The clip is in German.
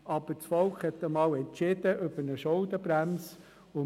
Aber das Volk hat einmal über eine Schuldenbremse entschieden.